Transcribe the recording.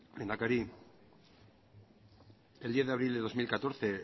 lehendakari el diez de abril de dos mil catorce